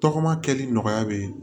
Tɔgɔma kɛli nɔgɔya be ye